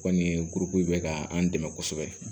O kɔni ye kuruko in bɛ ka an dɛmɛ kosɛbɛ